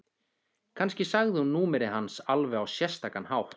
Kannski sagði hún númerið hans á alveg sérstakan hátt.